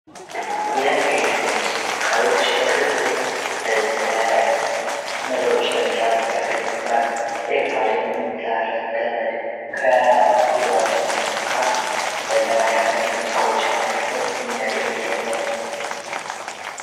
የኤሌክትሮኒክስ እቃዎች በቀላሉ ለነገሮችን ለመስራት ያገረግድናል። ኤርፖድም ያለ ገመድ ከዞሮችን መሰካት ለማዳመጥ ሙዚቃዎችን ለማዳመጥ የሚያገለግል ነው።